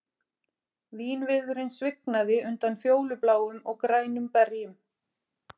Vínviðurinn svignaði undan fjólubláum og grænum berjum